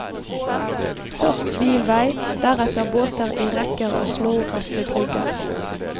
Først bilvei, deretter båter i rekker og snorrette brygger.